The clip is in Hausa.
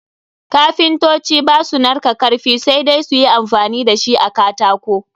Kapintoci ba su narka karfi, sai dai su yi amfani da shi a katako.